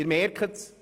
Sie merken es: